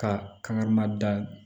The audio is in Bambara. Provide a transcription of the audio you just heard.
Ka kan ma da